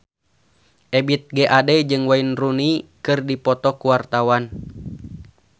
Ebith G. Ade jeung Wayne Rooney keur dipoto ku wartawan